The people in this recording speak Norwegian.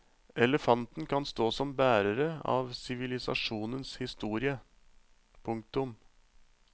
Elefantene kan stå som bærere av sivilisasjonenes historie. punktum